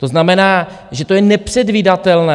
To znamená, že to je nepředvídatelné.